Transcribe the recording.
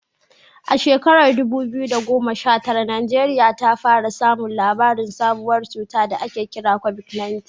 A shekarar dubu biyu da goma sha tara, Najeriya ta fara samun labarin sabuwar cutar da ake kira COVID-19.